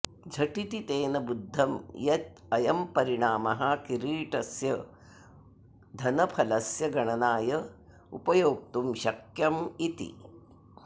झटिति तेन बुद्धं यत् अयं परिणामः किरीटस्य घनफलस्य गणनाय उपयोक्तुं शक्यमिति